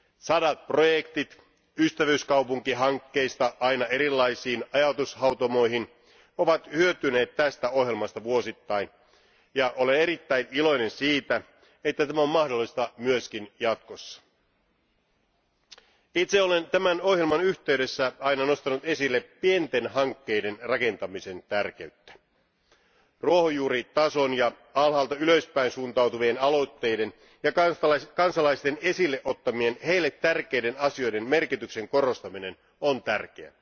Sadat projektit ystävyyskaupunkihankkeista aina erilaisiin ajatushautomoihin ovat hyötyneet tästä ohjelmasta vuosittain ja olen erittäin iloinen siitä, että tämä on mahdollista myös jatkossa. Itse olen tämän ohjelman yhteydessä aina nostanut esille pienten hankkeiden rakentamisen tärkeyttä. Ruohonjuuritason ja alhaalta ylöspäin suuntautuvien aloitteiden ja kansalaisten esille ottamien, heille tärkeiden asioiden merkityksen korostaminen on tärkeää.